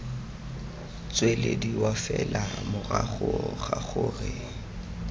tswelediwa fela morago ga gore